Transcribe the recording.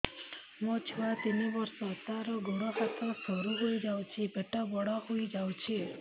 ମୋ ଛୁଆ ତିନି ବର୍ଷ ତାର ଗୋଡ ହାତ ସରୁ ହୋଇଯାଉଛି ପେଟ ବଡ ହୋଇ ଯାଉଛି